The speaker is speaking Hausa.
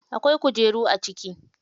Akwai kujeru a ciki.